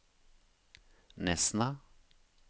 Nesna